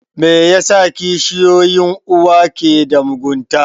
Me yasa kishiyoyin uwa ke da mugunta?